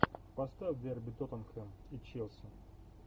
поставь дерби тоттенхэм и челси